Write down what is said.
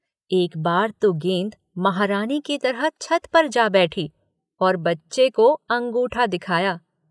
एक बार तो गेंद महारानी की तरह छत पर जा बैठी और बच्चे को अंगूठा दिखाया।